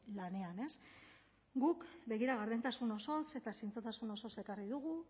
lanean guk begira gardentasun osoz eta zintzotasun osoz ekarri dugu